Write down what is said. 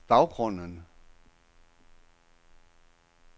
baggrunden